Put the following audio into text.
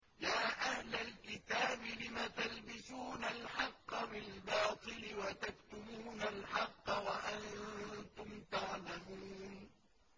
يَا أَهْلَ الْكِتَابِ لِمَ تَلْبِسُونَ الْحَقَّ بِالْبَاطِلِ وَتَكْتُمُونَ الْحَقَّ وَأَنتُمْ تَعْلَمُونَ